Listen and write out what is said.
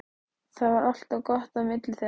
Það var alltaf gott á milli þeirra.